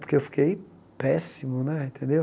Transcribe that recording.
Porque eu fiquei péssimo né, tendeu?